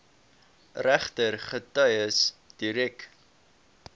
regter getuies direk